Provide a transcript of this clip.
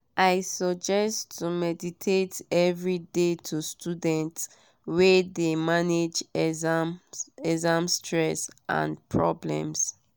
i suggest to meditate every dey to students wey de manage exam stress and problems.